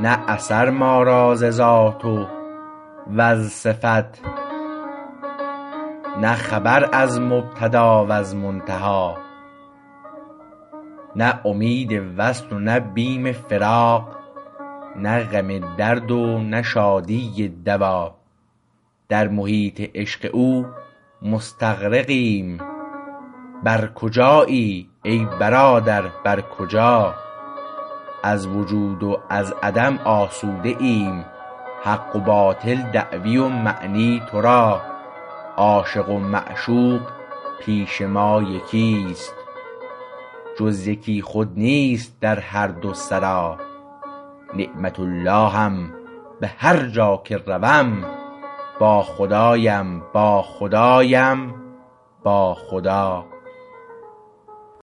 نه اثر ما را ز ذات و از صفت نه خبر از مبتدا وز منتهی نه امید وصل و نه بیم فراق نه غم درد و نه شادی دوا در محیط عشق او مستغرقیم بر کجایی ای برادر بر کجا از وجود و از عدم آسوده ایم حق و باطل دعوی و معنی تو را عاشق و معشوق پیش ما یکیست جز یکی خود نیست در هر دو سرا نعمت اللهم به هر جا که روم با خدایم با خدایم با خدا